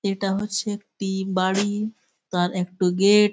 এটা হচ্ছে একটি বাড়ি। তার একটো গেট ।